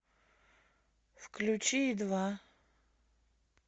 включи ю два